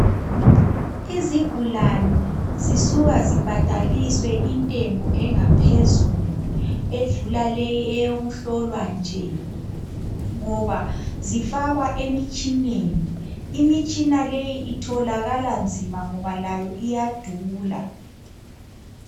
Izigulane zisuka zibhadaliswe intengo engaphezulu, edlula leyi eyokuhlolwa nje ngoba zifakwa emitshineni, imitshina leyi itholakala nzima ngoba layo iyadula.